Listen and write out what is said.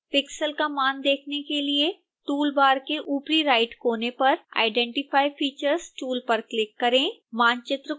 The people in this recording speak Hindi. pixel का मान देखने के लिए टूल बार के ऊपरी राइटकोने पर identify features टूल पर क्लिक करें